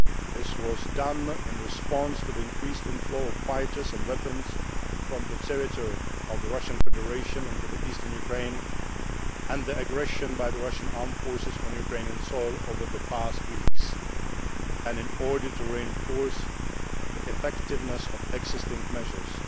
This was done in response to the increased inflow of fighters and weapons from the territory of the Russian Federation into Eastern Ukraine and the aggression by the Russian armed forces on Ukrainian soil over the past weeks, and in order to reinforce the effectiveness of existing measures.